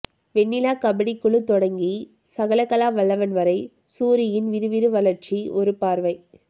வெண்ணிலா கபடிக்குழு தொடங்கி சகலகலாவல்லவன் வரை சூரியின் விறுவிறு வளர்ச்சி ஒரு பார்வை